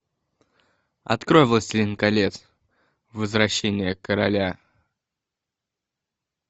открой властелин колец возвращение короля